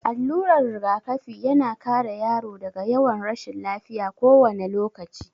Allurar rigakafi ya na kare yaro daga yawan rashin lafiya kowane lokaci.